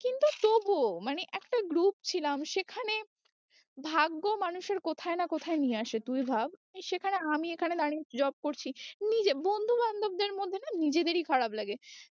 কিন্তু তবুও মানে একটা group ছিলাম সেখানে ভাগ্য মানুষের কোথায় না কোথায় নিয়ে আসে তুই ভাব সেখানে আমি এখানে job করছি নিজে বন্ধু বান্ধবদের মধ্যে না নিজেদেরই খারাপ লাগে